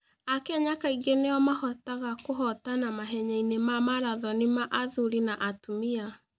Akenya kaingĩ nĩo mahotaga kũhootana mahenya-inĩ ma marathon ma athuri na atumia.